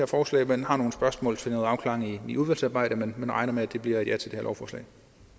forslag men har nogle spørgsmål til noget afklaring i udvalgsarbejdet men vi regner med at det bliver et ja til det her lovforslag